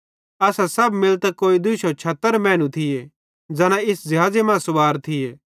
असां सब मिलतां कोई 200 मैनू थिये ज़ैना इस ज़िहाज़े मां सुवार थिये